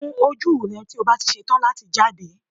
Kun ojú rẹ tí o bá ti ṣetán láti jáde